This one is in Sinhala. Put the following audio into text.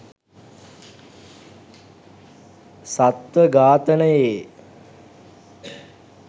සත්ව ඝාතනයේ